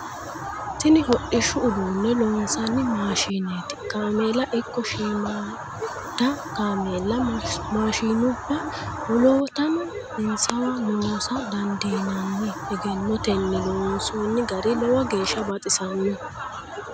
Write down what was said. Tini hodhishshu udune loosano maashineti kaameela ikko shiimada kaameella maashinubba woloottano insawa loosa dandiinanni egennotenni loonsonni gari lowo geeshsha baxisanoho.